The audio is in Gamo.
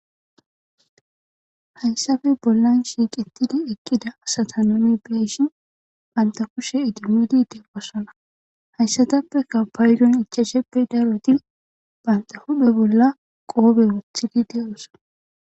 Hayssafe bollan shiiqetidi ekkida asata noomi bieshin banta kushe idimudi de wassana hayssatappeka paydon ichasheppe darotin banta hudhe bolla qoobe wothidi de7osa.